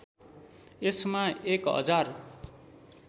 यसमा एक हजार